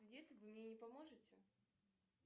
вы мне не поможете